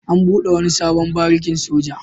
An buɗe wani sabon barikin soja.